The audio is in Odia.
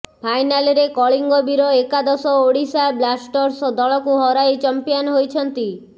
ଫାଇନାଲରେ କଳିଙ୍ଗ ବୀର ଏକାଦଶ ଓଡ଼ିଶା ବ୍ଲାଷ୍ଟର୍ସ ଦଳକୁ ହରାଇ ଚମ୍ପିଆନ୍ ହୋଇଛନ୍ତି